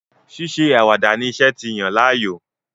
Ṣíṣe àwàdà ni iṣẹ́ ti yàn láàyò.